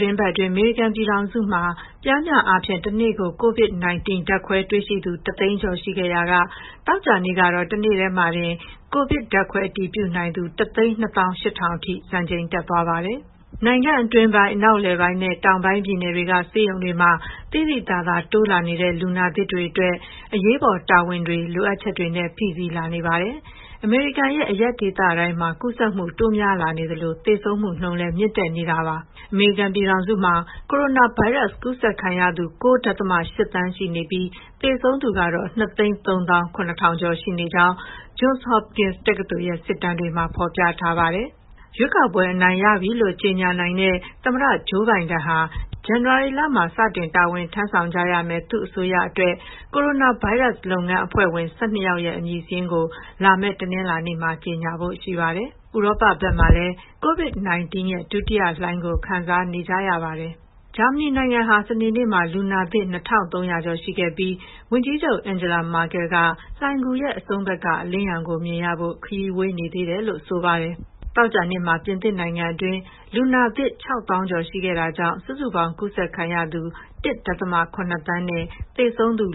တင်းပတ်အတွင်း အမေရိကန်ပြည်ထောင်စုမှာ ပျမ်းမျှအားဖြင့် တနေ့ကို COVID-19 ဓာတ်ခွဲတွေ့ရှိသူ ၁၀၀,၀၀၀ ကျော်ရှိခဲ့ရာက သောကြာနေ့ကတော့ တနေ့တည်းတင် ကိုဗစ်ဓာတ်ခွဲအတည်ပြုနိုင်သူ ၁၂၈,၀၀၀ အထိ စံချိန်တက်သွားခဲ့ပါတယ်။ နိုင်ငံအတွင်းပိုင်း၊ အနောက်အလယ်ပိုင်းနဲ့ တောင်ပိုင်းပြည်နယ်တွေက ဆေးရုံတွေမှာ သိသိသာသာ တိုးလာနေတဲ့ လူနာသစ်တွေအတွက် အရေးပေါ်တာဝန်တွေ၊ လိုအပ်ချက်တွေနဲ့ ဖိစီးလာနေပါတယ်။ အမေရိကန်ရဲ့ အရပ်ဒေသတိုင်းမှာ ကူးစက်မှု တိုးများလာနေသလို သေဆုံးမှုနှုန်းလည်း မြင့်တက်နေပါတယ်။ အမေရိကန်ပြည်ထောင်စုမှာ ကိုရိုနာဗိုင်းရပ်စ် ကူးစက်ခံရသူ ၉.၈ သန်း ရှိနေပြီး သေဆုံးသူကတော့ ၂၃၇,၀၀၀ ကျော် ရှိနေကြောင်း Johns Hopkins တက္ကသိုလ်ရဲ့ စစ်တမ်းတွေမှာ ဖော်ပြထားပါတယ်။ ရွေးကောက်ပွဲအနိုင်ရပြီလို့ ကြေညာနိုင်တဲ့ သမ္မတ Joe Biden ဟာ ဇန်နဝါရီမှာ စတင်တာဝန်ထမ်းဆောင်ကြရမယ့် သူ့အစိုးရအတွက် ကိုရိုနာဗိုင်းရပ်စ် လုပ်ငန်းအဖွဲ့ဝင် ၁၂ ယောက်ရဲ့ အမည်စာရင်းကို လာမယ့် တနင်္လာနေ့ကျရင် ကြေညာဖို့ရှိပါတယ်။ ဥရောပဘက်မှာလည်း COVID-19 ဒုတိယလှိုင်းကို ခံစားနေကြရပါတယ်။ ဂျာမနီနိုင်ငံဟာ စနေနေ့မှာ လူနစ်သစ် ၂,၃၀၀ ကျော်ရှိခဲ့ပြီး ဝန်ကြီးချုပ် Angela Merkel က လိုဏ်ဂူရဲ့အဆုံးဘက်က အလင်းရောင်ကိုမြင်ရဖို့ ခရီးဝေးနေသေးတယ်လို့ ဆိုပါတယ်။ သောကြာနေ့မှာ ပြင်သစ်နိုင်ငံအတွင်း လူနာသစ် ၆၀,၀၀၀ ကျော်ရှိခဲ့တာကြောင့် စုစုပေါင်း ကူးစက်ခံရသူ ၁.၇ သန်းနဲ့ သေဆုံးသူ